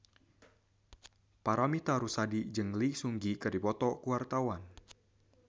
Paramitha Rusady jeung Lee Seung Gi keur dipoto ku wartawan